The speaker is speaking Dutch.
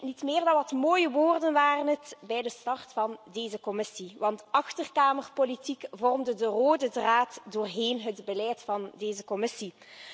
Niet meer dan wat mooie woorden waren het bij de start van deze Commissie, want achterkamerpolitiek vormde de rode draad doorheen het beleid van deze Commissie.